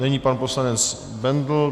Nyní pan poslanec Bendl.